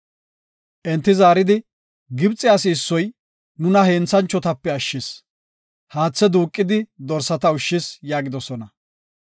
Enti zaaridi, “Gibxe asi issoy nuna henthanchotape ashshis. Haathe duuqidi dorsata ushshis” yaagidosona.